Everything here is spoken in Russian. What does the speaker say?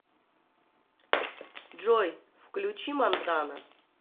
джой включи монтана